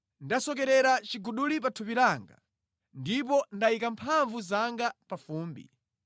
“Ndasokerera chiguduli pa thupi langa ndipo ndayika mphamvu zanga pa fumbi.